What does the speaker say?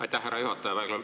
Aitäh, härra juhataja!